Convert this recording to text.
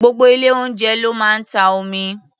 Gbogbo ilé-oúnjẹ ló máa ń ta omi.